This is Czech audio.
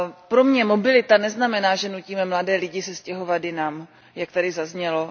Pro mě mobilita neznamená, že nutíme mladé lidi se stěhovat jinam, jak tady zaznělo.